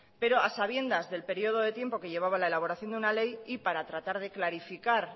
pero a sabiendas del periodo de tiempo que llevaba la elaboración de una ley y para tratar de clarificar